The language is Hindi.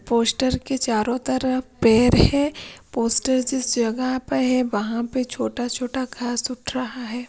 पोस्टर के चारों तरफ पेर है पोस्टर जिस जगह पे है वहां पे छोटा छोटा घास उठ रहा है।